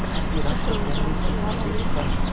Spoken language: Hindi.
भारतीय राष्ट्रीय कांग्रेस के अध्यक्ष का